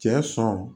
Cɛ sɔn